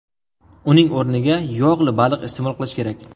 Uning o‘rniga yog‘li baliq iste’mol qilish kerak.